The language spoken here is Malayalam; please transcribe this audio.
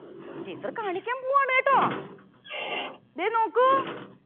teacher കാണിക്കാൻ പോവുവാണേട്ടോ ദേ നോക്കൂ